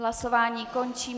Hlasování končím.